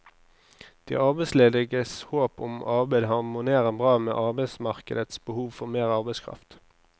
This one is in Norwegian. De arbeidslediges håp om arbeid harmonerer bra med arbeidsmarkedets behov for mer arbeidskraft.